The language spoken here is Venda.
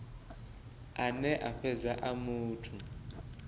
ane a fhedza a muthu